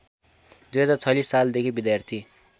२०४६ सालदेखि विद्यार्थी